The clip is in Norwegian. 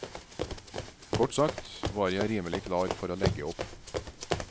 Kort sagt var jeg rimelig klar for å legge opp.